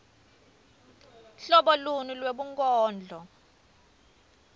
hlobo luni lwebunkondlo